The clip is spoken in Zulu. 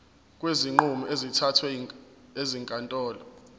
kwezinqumo ezithathwe ezinkantolo